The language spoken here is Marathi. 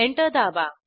एंटर दाबा